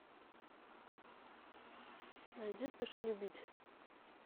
найди спеши любить